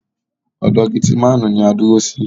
Ọ̀dọ̀ getimáànu ní a dúró sí.